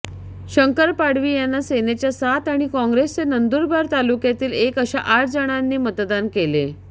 शंकर पाडवी यांना सेनेच्या सात आणि काँग्रेसचे नंदुरबार तालुक्यातील एक अशा आठ जणांनी मतदान केले